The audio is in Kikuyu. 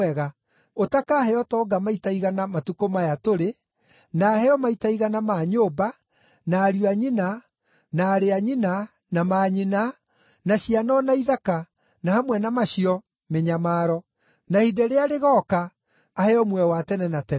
ũtakaheo ũtonga maita igana matukũ maya tũrĩ, na aheo maita igana ma nyũmba, na ariũ a nyina, na aarĩ a nyina, na manyina, na ciana o na ithaka, na hamwe na macio, mĩnyamaro. Na ihinda rĩrĩa rĩgooka aheo muoyo wa tene na tene.